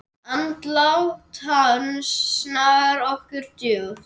Andlát hans snart okkur djúpt.